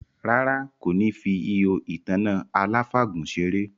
Rárá, kò ní fi ihò ìtanná aláfàgùn seré